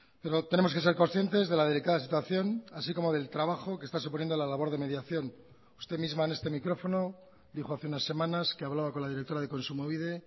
pero tenemos que ser conscientes de la delicada situación así como del trabajo que está suponiendo la labor de mediación usted misma en este micrófono dijo hace unas semanas que hablaba con la directora de kontsumobide